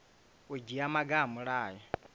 u dzhia maga a mulayo